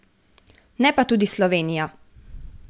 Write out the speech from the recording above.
Ne pa tudi Slovenija.